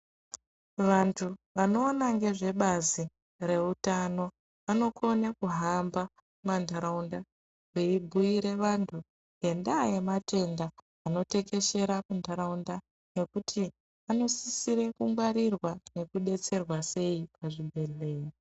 Vantu vanoona ngezvebazi reutano vanokone kuhamba muma ntaraunda veibhuyire vantu ngendaa yematenda anotekeshera muntaraunda nekuti anosisire kungwarirwa nekudetserwa sei pazvibhehlera.